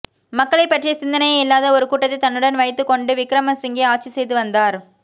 மக்களை பற்றிய சிந்தனையே இல்லாத ஒரு கூட்டத்தை தன்னுடன் வைத்துக் கொண்டு விக்ரமசிங்கே ஆட்சி செய்து வந்தார்